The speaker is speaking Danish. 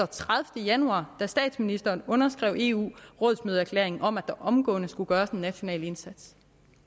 tredivete januar da statsministeren underskrev eu rådsmøde erklæringen om at der omgående skulle gøres en national indsats